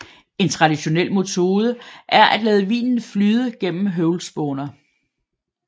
En traditionel metode er at lade vinen flyde gennem høvlspåner